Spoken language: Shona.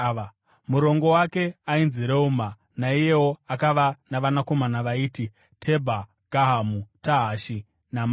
Murongo wake ainzi Reuma, naiyewo akava navanakomana vaiti: Tebha, Gahamu, Tahashi naMaaka.